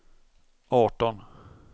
arton